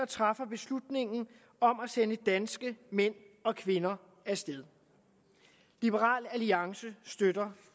træffer beslutningen om at sende danske mænd og kvinder af sted liberal alliance støtter